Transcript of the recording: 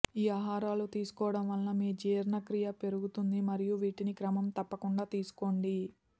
ఈ ఆహారాలు తీసుకోవడం వలన మీ జీర్ణక్రియ పెరుగుతుంది మరియు వీటిని క్రమం తప్పకుండ తీసుకోండి